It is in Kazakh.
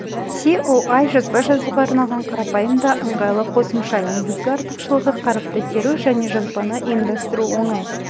ееасе жазба жазуға арналған қарапайым да ыңғайлы қосымша негізгі артықшылығы қаріпті теру және жазбаны ұйымдастыру оңай